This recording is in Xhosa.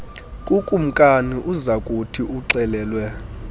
kukumkani uzakuthi uxelelwe